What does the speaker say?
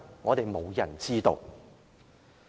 我們無人知曉。